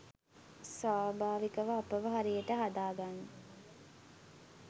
සවභාවිකව අපව හරියට හදාගන්න.